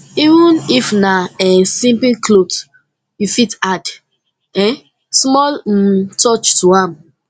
even if na um simple clothe you fit add um small um touch to am